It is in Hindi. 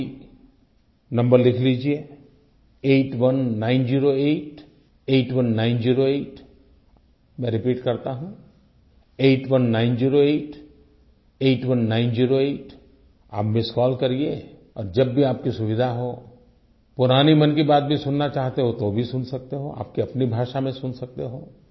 आप भी नंबर लिख लीजिये 8190881908 मैं रिपीट करता हूँ 8190881908 आप मिस्ड कॉल करिए और जब भी आपकी सुविधा हो पुरानी मन की बात भी सुनना चाहते हो तो भी सुन सकते हो आपकी अपनी भाषा में सुन सकते हो